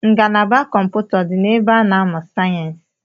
Ngalaba kọmpụta ọ dị na ebe a na-amụ sayensi?